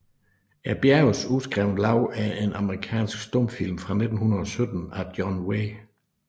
Bjergenes uskrevne Lov er en amerikansk stumfilm fra 1917 af John W